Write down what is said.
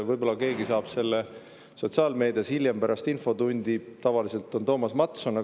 Võib‑olla saab keegi selle hiljem, pärast infotundi sotsiaalmeedias.